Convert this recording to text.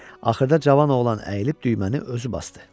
Axırda cavan oğlan əyilib düyməni özü basdı.